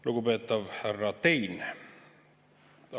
Lugupeetav härra Tein!